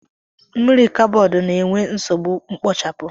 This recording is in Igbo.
mmiri kaboodu na enwe nsogbu mkpochapu